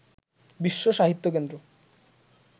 বিশ্ব সাহিত্য কেন্দ্র